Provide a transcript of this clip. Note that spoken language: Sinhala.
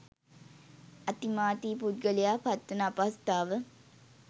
අතිමාතී පුද්ගලයා පත්වන අපහසුතාව